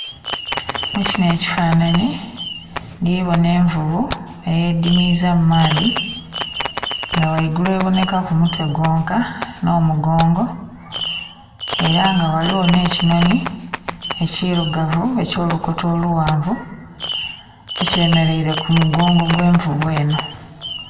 Mu kinho ekifanhanhi ndhi bona envuvu eyedimiiza mu maadhi nga ghaigulu ebonhekaku mutwe gwonka nh'omugongo ela nga ghaligho nh'ekinhoni ekilugavu eky'olukoto olughanvu ekyemeleile ku mugongo ogw'envuvu enho.